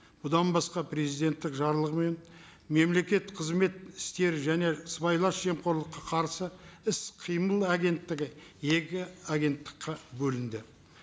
бұдан басқа президенттің жарлығымен мемлекет қызмет істері және сыбайлас жемқорлыққа қарсы іс қимыл агенттігі екі агенттікке бөлінді